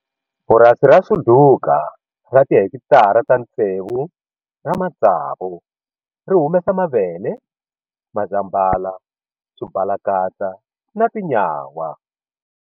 Purasi ra Suduka ra tihekitara ta tsevu ra matsavu ri humesa mavele, mazambhala, swibalakatsa na tinyawa.